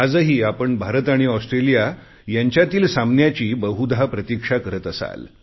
आज आपण भारत आणि ऑस्ट्रेलिया यांच्यातील सामन्याची बहुधा प्रतिक्षा करत असाल